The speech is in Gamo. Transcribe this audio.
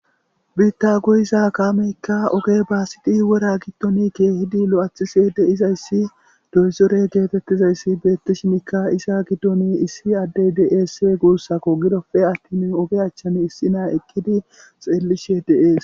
Biitta goyiza kaameyikka oge baasidi wora gidon keehdi lo7athishe de7izaysi doyzore geetettizay beettishin iza giddorakka issi addey de7ees guussako gido attin oge achchan issina xeellishe de7ees.